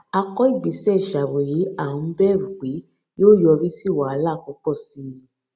a kọ ìgbésẹ ìṣàróyé à n bẹrù pé yóò yọrí sí wàhálà púpọ sí i